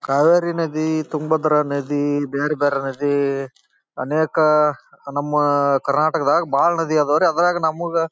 ಕಾವೇರಿ ನದಿ ಈ ತುಂಗಭದ್ರಾ ನದಿ ಈ ಬೇರೆ ಬೇರೆ ನದಿ ಅನೇಕ ನಮ್ ಕರ್ನಾಟಕದಗ್ ಬಹಳ ನದಿ ಅದವ್ರಿ. ಅದರಾಗ್ ನಮ್ ಊರ್ ಗ---